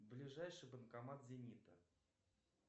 ближайший банкомат зенита